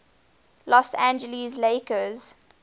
los angeles lakers